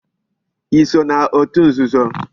I so na otu nzuzo?